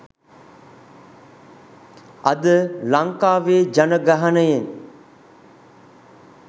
අද ලංකාවේ ජනගහනයෙන්